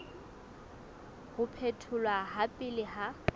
ho phetholwa ha pele ha